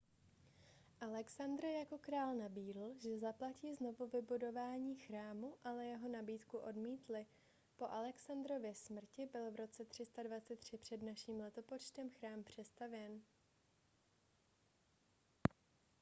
alexandr jako král nabídl že zaplatí znovuvybudování chrámu ale jeho nabídku odmítli po alexandrově smrti byl v roce 323 př n l chrám přestavěn